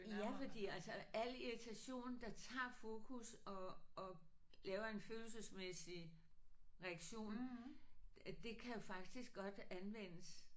Ja fordi altså al irritation der tager fokus og og laver en følelsesmæssig reaktion det kan jo faktisk godt anvendes